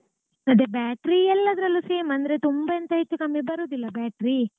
ಅದೇ battery ಎಲ್ಲಾದ್ರಲ್ಲೂ same ಅಂದ್ರೆ ತುಂಬಾ ಎಂತಹೆಚ್ಚು ಕಮ್ಮಿ ಬರೋದಿಲ್ಲ battery.